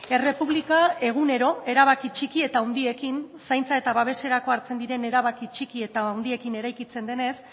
errepublika egunero erabaki txiki eta handiekin zaintza eta babeserako hartzen diren erabaki txiki eta handiekin eraikitzen denez